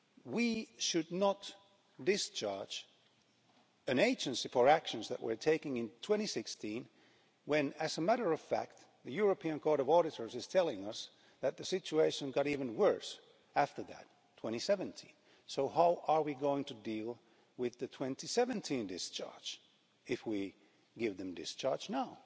We should not discharge an agency for actions that were taken in 2016 when, as a matter of fact, the European Court of Auditors is telling us that the situation got even worse after that in 2017. So how are we going to deal with the 2017 discharge if we give them discharge now?